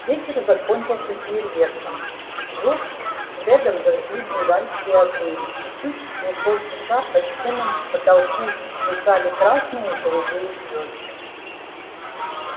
вечер закончился фейерверком джордж с фредом зажгли бенгальские огни и чуть не полчаса по стенам потолку плясали красные и голубые звезды